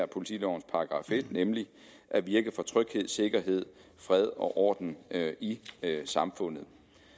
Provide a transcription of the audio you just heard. politilovens § en nemlig at virke for tryghed sikkerhed fred og orden i samfundet